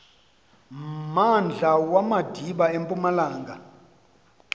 mmandla wamadiba empumalanga